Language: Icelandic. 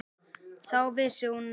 Þá vissi hún að